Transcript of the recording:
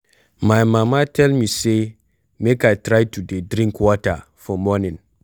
My mama tell me say make I try to dey drink water for morning